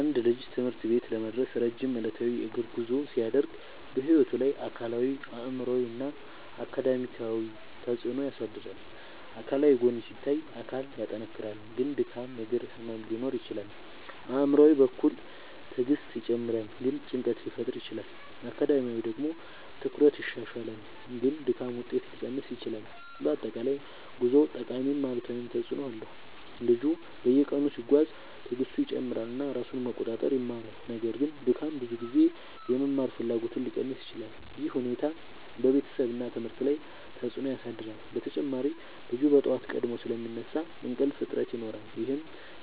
አንድ ልጅ ትምህርት ቤት ለመድረስ ረጅም ዕለታዊ የእግር ጉዞ ሲያደርግ በሕይወቱ ላይ አካላዊ አእምሯዊ እና አካዳሚያዊ ተፅዕኖ ያሳድራል። አካላዊ ጎን ሲታይ አካል ይጠናከራል ግን ድካም እግር ህመም ሊኖር ይችላል። አእምሯዊ በኩል ትዕግስት ይጨምራል ግን ጭንቀት ሊፈጠር ይችላል። አካዳሚያዊ ደግሞ ትኩረት ይሻሻላል ግን ድካም ውጤት ሊቀንስ ይችላል። በአጠቃላይ ጉዞው ጠቃሚም አሉታዊም ተፅዕኖ አለው። ልጁ በየቀኑ ሲጓዝ ትዕግስቱ ይጨምራል እና ራሱን መቆጣጠር ይማራል። ነገር ግን ድካም ብዙ ጊዜ የመማር ፍላጎትን ሊቀንስ ይችላል። ይህ ሁኔታ በቤተሰብ እና ትምህርት ላይ ተጽዕኖ ያሳድራል። በተጨማሪ ልጁ በጠዋት ቀድሞ ስለሚነሳ እንቅልፍ እጥረት ይኖራል ይህም